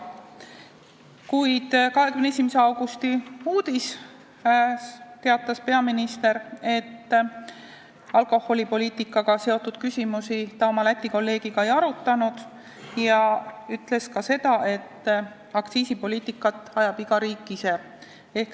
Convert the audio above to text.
Kuid 21. augusti uudises teatas peaminister, et alkoholipoliitikaküsimusi ta oma Läti kolleegiga ei arutanud, ja ütles ka seda, et aktsiisipoliitikat ajab iga riik ise.